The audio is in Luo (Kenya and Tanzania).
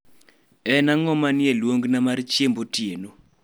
en ang'o manie luongona mar chiemb otieno